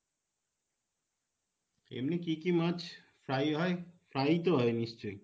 এমনই কী কী মাছ fry হয়, fry ই তো হয় নিশ্চয়?